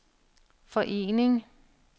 forening